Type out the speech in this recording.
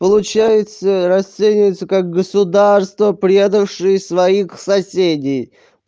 получается расценивается как государство предавшие своих соседей